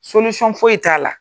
foyi t'a la.